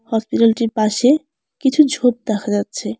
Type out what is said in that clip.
হসপিটালটির পাশে কিছু ঝোপ দেখা যাচ্ছে।